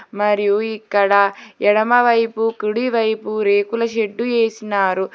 మరియు ఇక్కడ ఎడమ వైపు కుడి వైపు రేకుల షెడ్డు ఎసినారు.